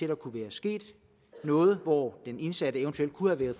der kunne være sket noget og hvor den indsatte eventuelt kunne være